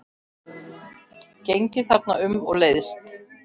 Gengið þarna um og leiðst.